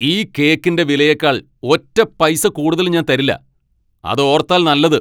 ഈ കേക്കിന്റെ വിലയേക്കാൾ ഒറ്റ പൈസ കൂടുതൽ ഞാൻ തരില്ല ! അത് ഓർത്താൽ നല്ലത്!